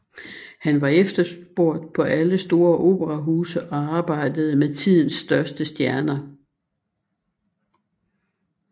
Hun var efterspurgt på alle store operahuse og arbejdede med tidens største stjerner